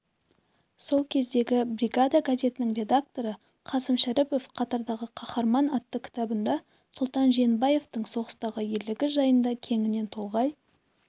сол кездегі бригада газетінің редакторы қасым шәріпов қатардағы қаһарман атты кітабында сұлтан жиенбаевтың соғыстағы ерлігі жайында кеңінен толғай